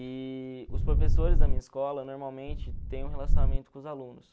E os professores da minha escola normalmente têm um relacionamento com os alunos.